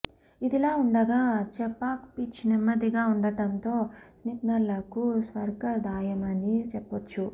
ఇదిలా ఉండగా చెపాక్ పిచ్ నెమ్మదిగా ఉండడంతో స్పిన్నర్లకు స్వర్గధామమని చెప్పొచ్చు